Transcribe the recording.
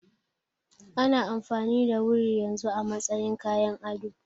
Ana amfani da wuri yanzu a matsayin kayan ado.